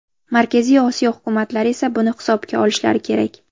Markaziy Osiyo hukumatlari esa buni hisobga olishlari kerak.